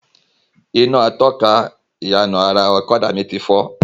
Iná atọ́ka ìyànà ara ọ̀kadà mi ti fọ́